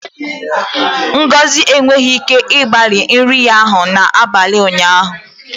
Ngozi enweghị ike igbari nri ya n'abalị ụnyaahụ